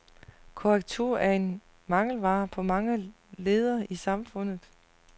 Korrektur er en mangelvare på mange ledder i samfundet.